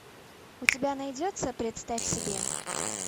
у тебя найдется представь себе